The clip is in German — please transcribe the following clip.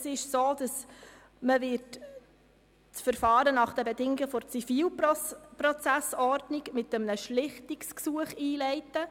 Es ist so, dass das Verfahren nach den Bedingungen der ZPO mit einem Schlichtungsgesuch eingeleitet wird.